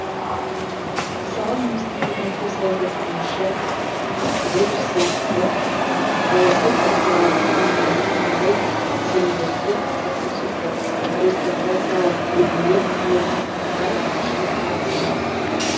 мысалы немістің көрнекті саясаттанушы макс вебер сияқты саяси партиялардың дамуында мынадай кезеңдерді атап көрсетті аристократиялық үйірмелер саяси клубтар көпшілік партиялар